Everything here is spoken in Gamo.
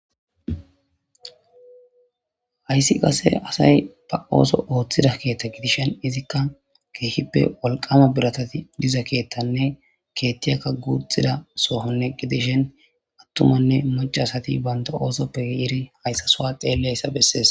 Hayssi qase asay ba ooso ooththida keethta gidishen izikka keehippe wolqama biratati diza keettanne keettiyakka guuxxida sohonne gidishen attumanne macasati banta oosoppe iri hayssa soa xeelleyssa bessees.